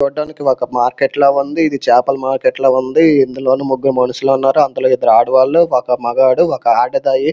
చూడ్డానికి ఒక మార్కెట్ లా ఉంది. ఇది చేపల మార్కెట్ లా ఉంది. ఇందులోని ముగ్గురు మనుషులున్నారు. అందులో ఇద్దరు ఆడవాళ్లు ఒక మగాడు ఒక ఆడదాయి --